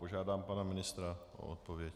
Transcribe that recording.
Požádám pana ministra o odpověď.